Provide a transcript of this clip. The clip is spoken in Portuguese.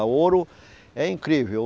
O ouro é incrível.